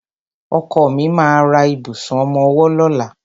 Ọkọ mi ma ra ìbùsùn ọmọwọ́ lọ́la.